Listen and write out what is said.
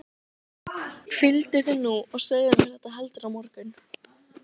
Hvíldu þig nú og segðu mér þetta heldur á morgun.